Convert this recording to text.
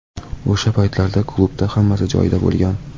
O‘sha paytlarda klubda hammasi joyida bo‘lgan.